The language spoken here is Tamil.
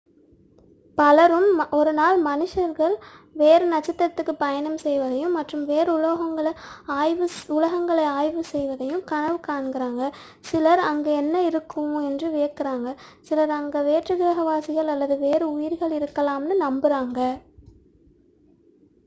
பலரும் ஒருநாள் மனிதர்கள் வேறு நட்சத்திரதிற்குப் பயணம் செய்வதையும் மற்றும் வேறு உலகங்களை ஆய்வு செய்வதையும் கனவு காண்கிறார்கள் சிலர் அங்கே என்ன இருக்கும் என்று வியக்கிறார்கள் சிலர் அங்கே வேற்றுக்கிரக வாசிகள் அல்லது வேறு உயிர்கள் இருக்கலாம் என்று நம்புகிறார்கள்